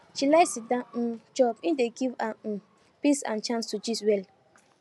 she like sitdown um chop e dey give her um peace and chance to gist well